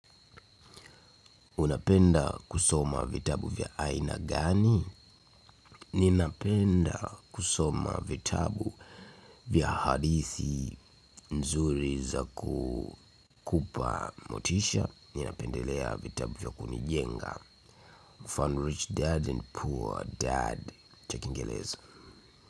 Unapenda kusoma vitabu vya aina gani? Ninapenda kusoma vitabu vya hadithi nzuri za kukupa motisha. Ninapendelea vitabu vya kunijenga. Fun rich dad and poor dad. Cha Kiingereza.